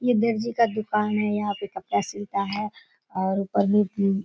ये दरजी का दुकान है। यहाँ पे कपड़ा सिलता है और ऊपर में भी --